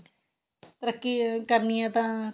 ਤਰੱਕੀ ਕਰਨੀ ਏ ਤਾਂ